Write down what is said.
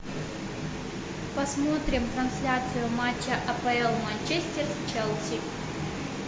посмотрим трансляцию матча апл манчестер челси